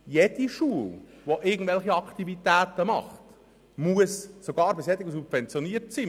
Jede Schule, die irgendwelche Aktivitäten anbietet, muss dies tun, sogar eine subventionierte Schule.